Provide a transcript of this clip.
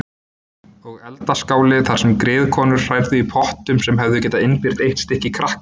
Og eldaskáli þar sem griðkonur hrærðu í pottum sem hefðu getað innbyrt eitt stykki krakka.